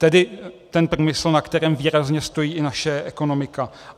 Tedy ten průmysl, na kterém výrazně stojí i naše ekonomika.